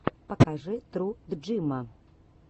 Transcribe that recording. покажи тру джима